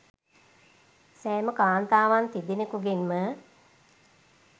සෑම කාන්තාවන් තිදෙනකුගෙන්ම